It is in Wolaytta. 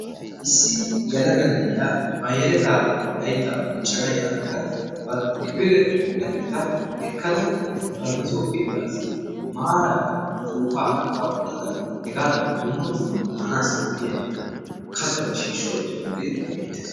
issi yelaga na'iya ba yeletaa laytaa bonchana yaagada banta kifile lageta ekkada bantaso keetaassi maarara upuupaa kaqa utada hegaadankka maaraara katata shiishsha uttidooge beetees.